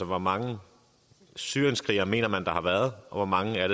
hvor mange syrienskrigere man mener der har været og hvor mange det er